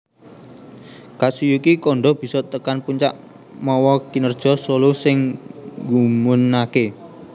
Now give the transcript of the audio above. Katsuyuki Kondo bisa tekan puncak mawa kinèrja solo sing nggumunaké